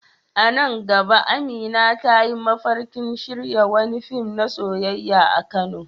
A nan gaba Amina ta yi mafarkin shirya wani fim na soyayya a Kano.